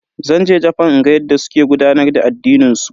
Zan je Jafan in ga yadda suke gudanar da addinin su.